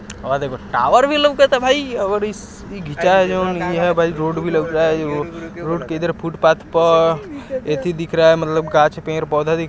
और देखो टावर भी लउकत है भाई और इस इ घीचाय जोन ये है भाई रोड भी लउक रहा है और रोड के इधर फुटपाथ पर एथेइ दिख रहा है मतलब गाछ पेड़-पौधा दिख--